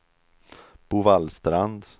Bovallstrand